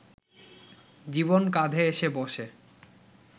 জীবন কাঁধে এসে বসে